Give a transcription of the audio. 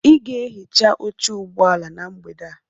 Ị ga-ehicha oche ụgbọ ala na mgbede a.